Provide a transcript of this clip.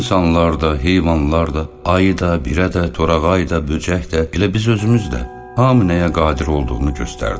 İnsanlar da, heyvanlar da, ayı da, birə də, torağayı da, böcək də, elə biz özümüz də, hamı nəyə qadir olduğunu göstərdi.